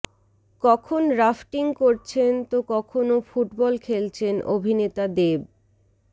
কখন রাফটিং করছেন তো কখনও ফুটবল খেলছেন অভিনেতা দেব